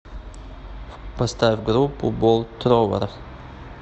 поставь группу болт тровэр